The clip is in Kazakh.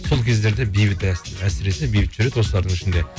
сол кездерде бейбіт әсіресе бейбіт жүреді осылардың ішінде